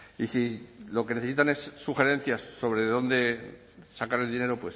y si lo que necesitan es sugerencias sobre de dónde sacar el dinero